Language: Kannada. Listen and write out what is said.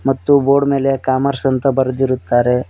ಮತ್ತು ಬೋರ್ಡ್ ಮೇಲೆ ಕಾಮರ್ಸ್ ಅಂತ ಬರೆದಿರುತ್ತಾರೆ.